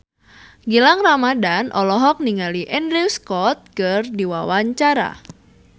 Gilang Ramadan olohok ningali Andrew Scott keur diwawancara